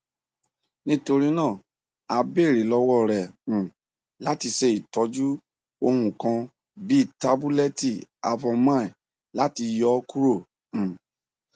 nitorina a beere lọwọ rẹ um lati ṣe itọju ohun kan bii tabulẹti avomine lati yọ kuro um